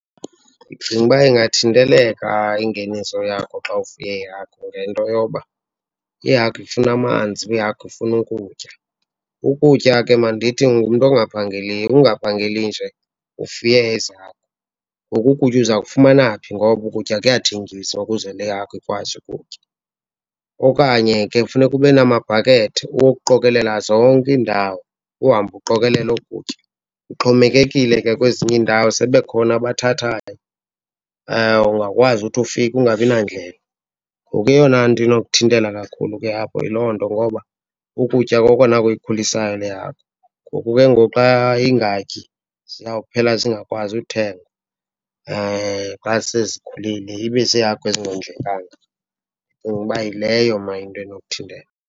Ndicinga uba ingathinteleka ingeniso yakho xa ufuye iihagu ngento yoba ihagu ifuna amanzi, ihagu ifuna ukutya. Ukutya ke, mandithi ungumntu ongaphangeliyo, ungaphangeli nje ufuye ezi hagu. Ngoku ukutya uza kufumana phi? Ngoba ukutya kuyathengiswa ukuze le hagu ikwazi ukutya. Okanye ke funeka ube namabhakethi wokuqokelela zonke iindawo, uhambe uqokekelela oku kutya. Kuxhomekekile ke kwezinye iindawo sebekhona abathathayo, ungakwazi uthi ufika ungabi nandlela. Ngoku eyona nto inokuthintela kakhulu ke apho yiloo nto ngoba ukutya kokona kuyikhulisayo le hagu. Ngoku ke ngoku xa ingatyi ziyawuphela zingakwazi uthengwa xa sezikhulile, ibe ziihagu ezingondlekanga. Ndicinga uba yileyo mna into enokuthintela.